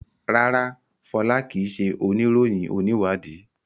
rara, Fola kii ṣe oniroyin oniwadii